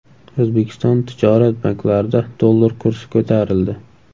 O‘zbekiston tijorat banklarida dollar kursi ko‘tarildi.